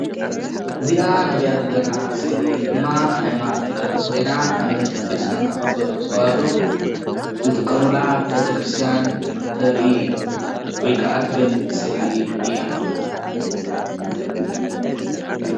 እዚኣ ንሪኣ ዘለና ምስሊ ድማ ሃይማኖት ትገልፅ ኮይና አመንቲ ክርስትና ኦርቶዶክስ ተዋህዶ ዝጥቀምላ ቤተ ከርስቲያን ተርኢ ወይ ከዓ ትገልፅ ስእሊ እያ፡፡